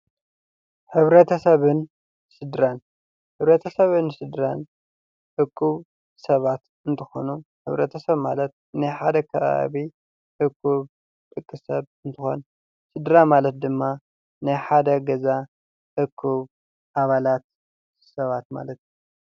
ሕብረተሰብን ስድራን ሕብረተሰብ ስድራን እኩብ ሰባት እንትኾኑ፤ ሕብረተሰብ ማለት ናይ ሓደ ከባቢ አኩብ እኩብ ሰብ አንትኾን፤ ስድራ ማለት ድማ ናይ ሓደ ገዛ እኩብ ኣባላት ሰባት ማለት እዩ።